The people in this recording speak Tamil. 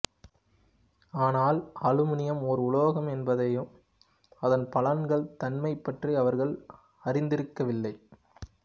ஆனால் அலுமினியம் ஓர் உலோகம் என்பதையும் அதன் பலன்கள் தன்மை பற்றி அவர்கள் அறிந்திருக்கவில்லை